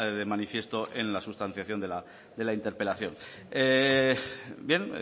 de manifiesto en la sustanciación de la interpelación bien